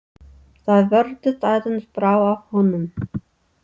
Það virðist aðeins brá af honum.